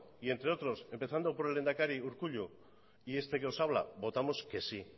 y entre otros empezando por el lehendakari urkullu y este que os habla votamos que sí